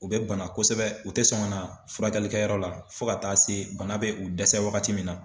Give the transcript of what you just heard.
U bɛ bana kosɛbɛ u tɛ sɔn ka na furakɛlikɛ yɔrɔ la fo ka taa se bana bɛ u dɛsɛ wagati min na.